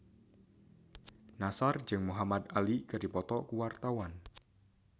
Nassar jeung Muhamad Ali keur dipoto ku wartawan